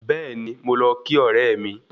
Bẹ́ẹ̀ni, mo lọ kí ọ̀rẹ́ mi